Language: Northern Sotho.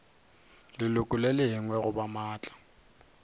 leloko le lengwe goba maatla